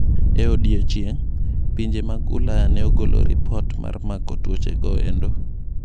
Ei odiochieng',pinje mag Ulaya ne ogolo lipot mar mako tuochego endo.